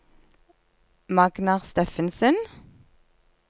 Magnar Steffensen